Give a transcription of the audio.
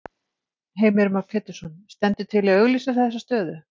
Heimir Már Pétursson: Stendur til að auglýsa þessa stöðu?